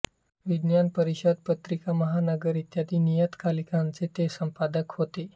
विज्ञान परिषद पत्रिका महानगर इत्यादी नियतकालिकांचे ते संपादक होते